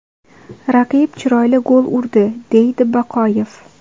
Raqib chiroyli gol urdi”, deydi Baqoyev.